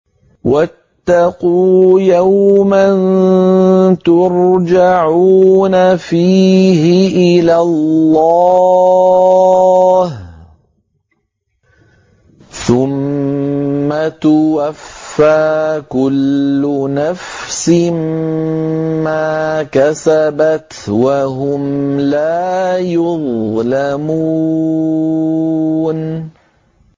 وَاتَّقُوا يَوْمًا تُرْجَعُونَ فِيهِ إِلَى اللَّهِ ۖ ثُمَّ تُوَفَّىٰ كُلُّ نَفْسٍ مَّا كَسَبَتْ وَهُمْ لَا يُظْلَمُونَ